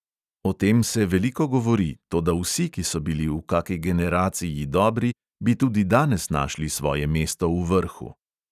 O tem se veliko govori, toda vsi, ki so bili v kaki generaciji dobri, bi tudi danes našli svoje mesto v vrhu.